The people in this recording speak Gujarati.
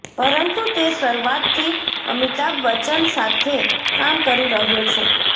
પરંતુ તે શરૂઆતથી અમિતાભ બચ્ચન સાથે કામ કરી રહ્યો છે